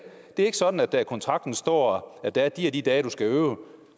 det er ikke sådan at der i kontrakten står at det er de og de dage du skal øve